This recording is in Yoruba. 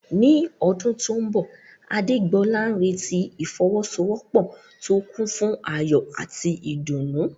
Ní ọdún tó mbọ̀, Adégbolá ń retí ìfọwọ́sowọ́pọ̀ tó kún fún ayọ̀ àti ìdùnnú